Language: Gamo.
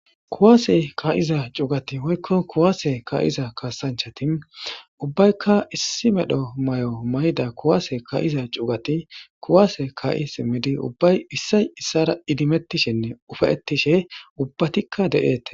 kuwaase ka7iza cugati hoykko kuwaase ka7iza kaasanchati ubbaykka issi medho may7o mayda kuwase ka7iza cuugati kuwaase ka7i simmidi ubbay issay issara idimettishenne ufayettishe ubbatikka de7eete